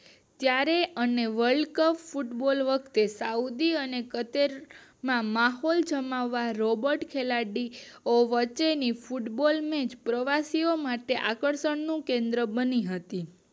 ત્યારે અને world cup football વખતે સાઉદી અને કતલ માં માહોલ જમાવવા રોબોટ ખેલાડીઓ માટેની ફૂટબોલ મેચ પ્રવાસીઓ માટે કેન્દ્ર બની હતી